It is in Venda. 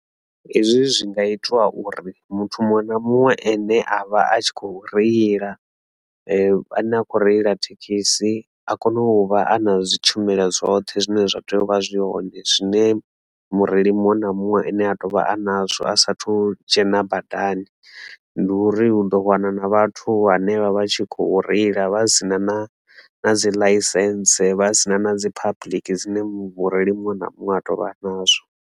Hezwi zwi nga itiwa uri muthu muṅwe na muṅwe ane a vha a tshi kho reila a ne a khou reila thekhisi a kone u vha a na zwi tshumelo dzoṱhe zwine zwa tea u vha zwi hoṋe zwine mureili muṅwe na muṅwe ane a tovha a nazwo a sathu dzhena badani ndi uri hu ḓo wana na vhathu henevha vha tshi khou reila vha si na na na dzi ḽaisense vha si na na dzi public dzine mu vhurereli muṅwe na muṅwe a tovha a nazwo.